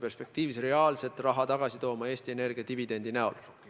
See hakkab reaalselt raha tagasi tooma Eesti Energia dividendide näol.